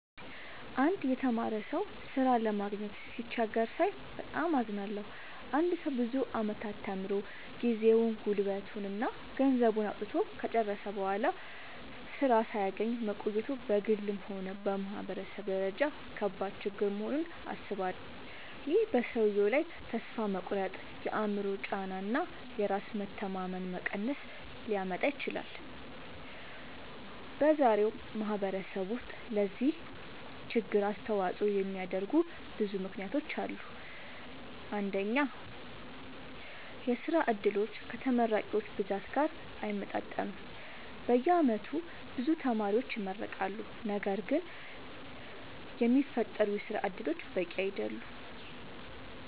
አንድ የተማረ ሰው ሥራ ለማግኘት ሲቸገር ሳይ በጣም አዝናለሁ። አንድ ሰው ብዙ ዓመታት ተምሮ፣ ጊዜውን፣ ጉልበቱን እና ገንዘቡን አውጥቶ ከጨረሰ በኋላ ሥራ ሳያገኝ መቆየቱ በግልም ሆነ በማህበረሰብ ደረጃ ከባድ ችግር መሆኑን አስባለሁ። ይህ በሰውየው ላይ ተስፋ መቁረጥ፣ የአእምሮ ጫና እና የራስ መተማመን መቀነስ ሊያመጣ ይችላል። በዛሬው ማህበረሰብ ውስጥ ለዚህ ችግር አስተዋጽኦ የሚያደርጉ ብዙ ምክንያቶች አሉ። አንደኛ፣ የሥራ ዕድሎች ከተመራቂዎች ብዛት ጋር አይመጣጠኑም። በየዓመቱ ብዙ ተማሪዎች ይመረቃሉ፣ ነገር ግን የሚፈጠሩ የሥራ እድሎች በቂ አይደሉም።